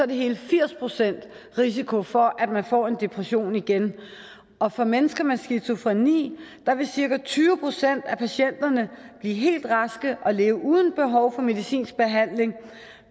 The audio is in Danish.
der hele firs procent risiko for at man får en depression igen og for mennesker med skizofreni vil cirka tyve procent af patienterne blive helt raske og leve uden behov for medicinsk behandling